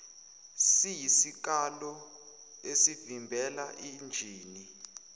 siyisikalo esivimbela injini